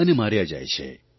અને માર્યા જાય છે